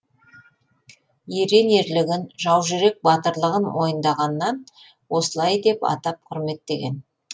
ерен ерлігін жаужүрек батырлығын мойындағаннан осылай деп атап құрметтеген